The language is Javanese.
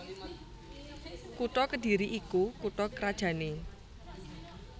Kutha Kedhiri iku kutha krajanné